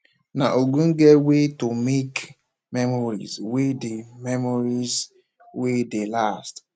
na ogbonge wey to take make memories wey dey memories wey dey last